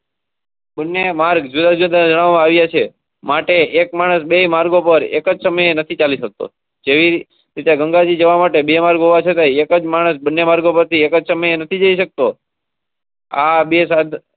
ને માર્ગ ધરાવે છે. માટે એક માણસ બે માર્ગો પર એક સમય નથી ચાલી શકતો. ગંગાજી જવા માટે બે માર્ગ હોવા છતાં એક માણસ બને માર્ક. આ બેસાડ.